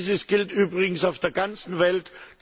Dieses gilt übrigens auf der ganzen Welt.